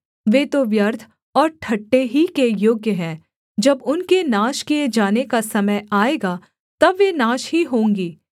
वे तो व्यर्थ और ठट्ठे ही के योग्य है जब उनके नाश किए जाने का समय आएगा तब वे नाश ही होंगी